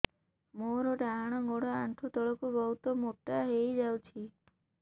ମୋର ଡାହାଣ ଗୋଡ଼ ଆଣ୍ଠୁ ତଳକୁ ବହୁତ ମୋଟା ହେଇଯାଉଛି